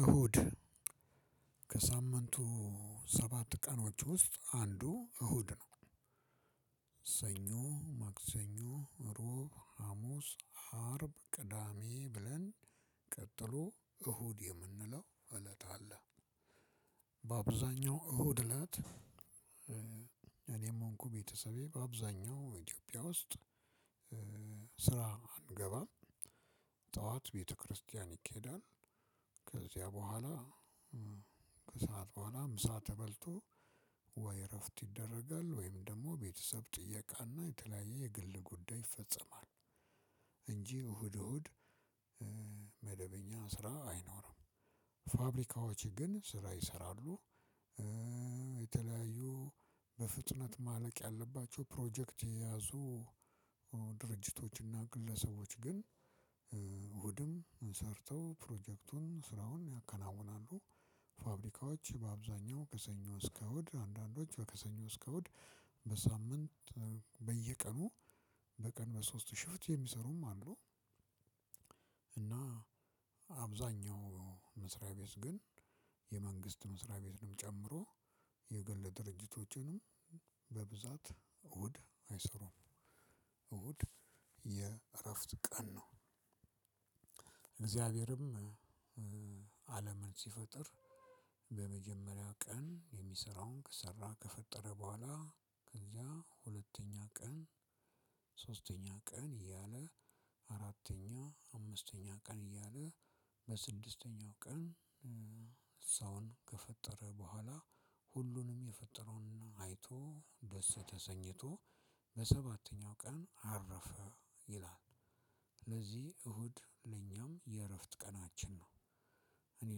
እሁድ ከሳምንቱ ሰባት ቀኖች ውስጥ አንዱ እሁድ ነው። ሰኞ ማክሰኞ እሮብ ሀሙስ አርብ ቅዳሜ ብለን ቀጥሎ እሁድ የምንለው እለት አላ። በአብዛኛው እሁድ እላት። እኔም ሆንኩ ቤተሰቤ በአብዛኛው ኢትዮጵያ ውስጥ ስራ አንገባም። ጠዋት ቤተክርስቲያን ይካሄዳል። ከዚያ በኋላ ከሰአት በኋላ ምሳ ተበልቶ ወይ እረፍት ይደረጋል ወይም ደግሞ ቤተሰብ ጥያቄ እና የተለያየ የግል ጉዳይ ይፈጸማል። እንጂ እሁድ እሁድ መደበኛ ስራ አይኖርም። ፋብሪካዎች ግን ስራ ይሰራሉ። የተለያዩ በፍጥነት ማለቅ ያለባቸው ፕሮጀክት የያዙ ድርጅቶች እና ግለሰቦች ግን እሁድም ሰርተው ፕሮጀክቱን ስራዎን ያከናውናሉ። ፋብሪካዎች በአብዛኛው ከሰኞ እስከ እሁድ አንዳንዶች ከሰኞ እስከ እሁድ በሳምንት በየቀኑ በቀን በሶስት ሽፍት የሚሰሩም አሉ። እና አብዛኛው መስሪያ ቤት ግን የመንግስት መስሪያ ቤትንም ጨምሮ የግል ድርጅቶችንም በብዛት እሁድ አይሰሩም። እሁድ የእረፍት ቀን ነው። እግዚአብሔርም አለምን ሲፈጥር በመጀመሪያው ቀን የሚሰራውን ከሰራ ከፈጠረ በኋላ ከዚያ ሁለተኛ ቀን ሶስተኛ ቀን እያለ አራተኛ አምስተኛ ቀን እያለ በስድስተኛው ቀን ሰውን ከፈጠረ በኋላ ሁሉንም የፈጠረውና አይቶ ደስ ተሰኝቶ በሰባተኛው ቀን አረፈ ይላል። ስለዚህ እሁድ ለኛም የእረፍት ቀናችን ነው። እኔ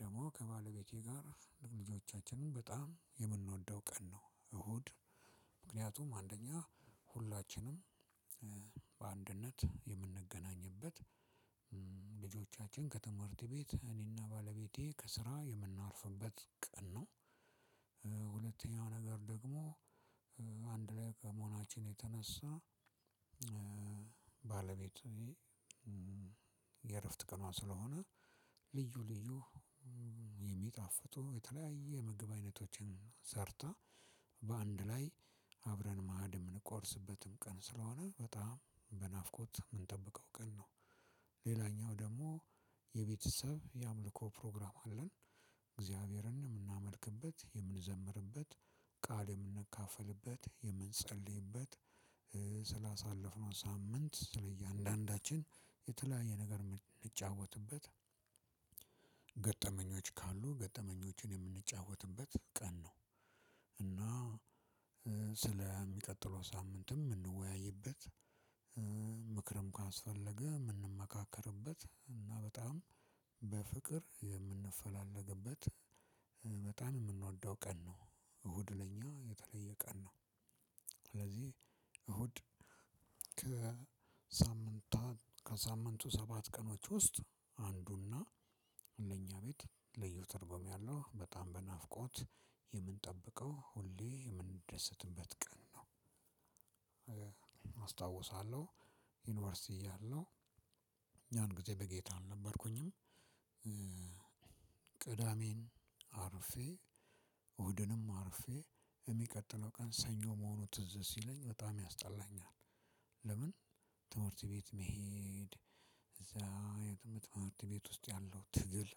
ደግሞ ከባለቤቴ ጋር ልጆቻችንን በጣም የምንወደው ቀን ነው እሁድ ምክንያቱም አንደኛ ሁላችንም በአንድነት የምንገናኝበት ልጆቻችን ከትምህርት ቤት እኔና ባለቤቴ ከስራ የምናርፍበት ቀን ነው። ነገር ደግሞ አንድ ላይ በመሆናችን የተነሳ ባለቤት የእረፍት ቀኗ ስለሆነ ልዩ ልዩ የሚጣፍጡ የተለያየ የምግብ አይነቶችን ሰርታ በአንድ ላይ አብረን ማዕድ የምንቆርስበትም ቀን ስለሆነ በጣም በናፍቆት እየምንጠብቀው ቀን ነው። ሌላኛው ደግሞ የቤተሰብ የአምልኮ ፕሮግራም አለን። እግዚአብሔርን የምናመልክበት የምንዘምርበት ቃል የምንካፈልበት የምንጸልይበት ስላሳለፍነው ሳምንት ስለ እያንዳንዳችን የተለያየ ነገር የምንጫወትበት ገጠመኞች ካሉ ገጠመኞችን የምንጫወትበት ቀን ነው። እና ስለሚቀጥለው ሳምንትም የምንወያይበት ምክርም ካስፈለገ ምንመካከርበት እና በጣም በፍቅር የምንፈላለግበት በጣም የምንወደው ቀን ነው። እሁድ ለኛ የተለየ ቀን ነው። ስለዚህ እሁድ ከሳምንታን ከሳምንቱ ሰባት ቀኖች ውስጥ አንዱና ለእኛ ቤት ልዩ ትርጉም ያለው በጣም በናፍቆት የምንጠብቀው ሁሌ የምንደሰትበት ቀን ነው። አስታውሳለሁ ዩኒቨርሲቲ እያለሁ እኛን ያንጊዜ በጌታ አልነበርኩኝም። ቅዳሜን አርፌ እሁድንም አርፌ የሚቀጥለው ቀን ሰኞ መሆኑ ትዝ ሲለኝ በጣም ያስጠላኛል። ለምን ትምህርት ቤት መሄድ እዛ የትምህርት ትምህርት ቤት ውስጥ ያለው ትግል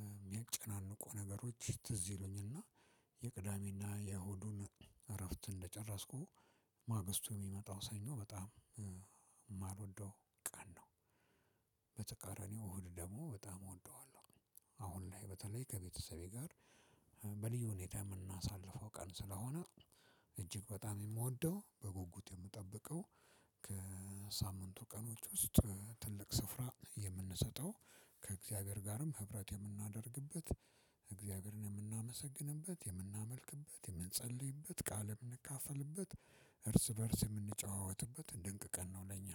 የሚያጨናንቁ ነገሮች ትዝ ይሉኝና የቅዳሜና የእሁዱን እረፍት እንደጨረስኩ ማግስቱ የሚመጣው ሰኞ በጣም የማልወደው ቀን ነው። እሁድ ደግሞ በጣም እወደዋለሁ። አሁን ላይ በተለይ ከቤተሰቤ ጋር በልዩ ሁኔታ የምናሳልፈው ቀን ስለሆነ እጅግ በጣም የምወደው በጉጉት የምጠብቀው ቀኖች ውስጥ ትልቅ ስፍራ የምንሰጠው ከእግዚአብሔር ጋርም ህብረት የምናደርግበት እግዚአብሔርን የምናመሰግንበት የምናመልክበት የምንጸልይበት ቃል የምንካፈልበት እርስ በእርስ የምንጨዋወትበት እንደ ድንቅ ቀን ነው ለኛ።